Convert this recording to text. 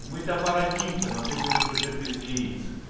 мы то породнимся но ты будешь уже без яиц